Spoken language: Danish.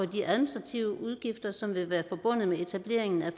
de administrative udgifter som vil være forbundet med etableringen af